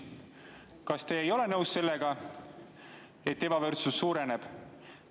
Kas te ei ole nõus sellega, et ebavõrdsus suureneb?